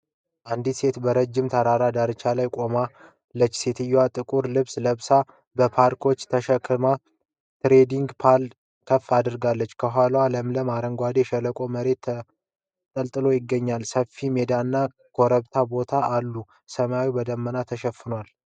አንዲት ሴት በረጃጅም ተራሮች ዳርቻ ላይ ቆማለች። ሴትየዋ ጥቁር ልብስ ለብሳ፣ ባክፓክ ተሸክማ ትሬኪንግ ፖል ከፍ አድርጋለች። ከኋላዋ ለምለም አረንጓዴ የሸለቆ መሬት ተንጣሎ ይገኛል። ሰፊ ሜዳና ኮረብታማ ቦታዎች አሉ። ሰማዩ በደመና ተሸፍኗል።